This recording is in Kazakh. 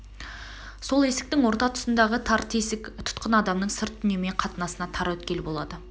сол есіктің орта тұсындағы тар тесік тұтқын адамның сырт дүниемен қатынасына тар өткел болады